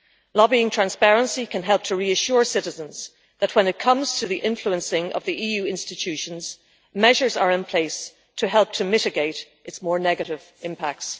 Lobbying transparency can help to reassure citizens that when it comes to the influencing of the EU institutions, measures are in place to help to mitigate its more negative impacts.